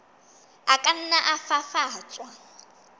a ka nna a fafatswa